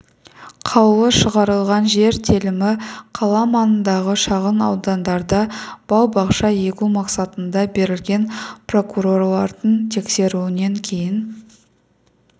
қаулы шығарылған жер телімі қала маңындағы шағын аудандарда бау-бақша егу мақсатында берілген прокурорлардың тексеруінен кейін